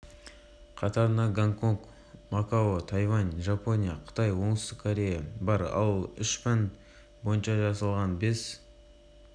ұйымныңбілім саласы бойынша директорыандреас шлейхер сингапур тек жақсы нәтиже көрсетіп қана қоймай үнемі алға жылжып